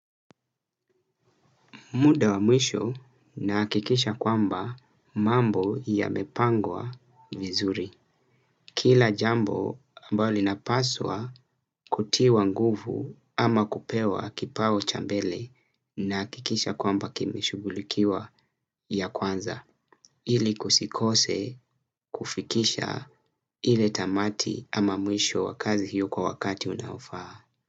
Muda wa mwisho nahakikisha kwamba mambo yamepangwa vizuri. Kila jambo ambalo linapaswa kutiwa nguvu ama kupewa kipao cha mbele nahakikisha kwamba kimeshughulikiwa ya kwanza ili kusikose kufikisha ile tamati ama mwisho wa kazi hiyo kwa wakati unaofaa.